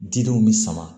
Didenw bi sama